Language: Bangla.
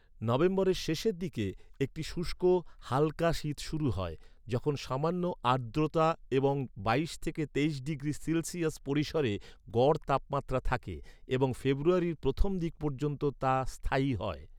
নভেম্বরের শেষের দিকে একটি শুষ্ক, হালকা শীত শুরু হয়, যখন সামান্য আর্দ্রতা এবং বাইশ তেইশ ডিগ্রি সেলসিয়াস পরিসরে গড় তাপমাত্রা থাকে এবং ফেব্রুয়ারির প্রথম দিক পর্যন্ত তা স্থায়ী হয়।